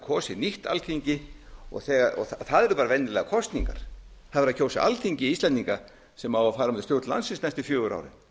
kosið nýtt alþingi og það eru bara venjulegar kosningar það er verið að kjósa alþingi íslendinga sem á að fara með stjórn landsins næstu fjögur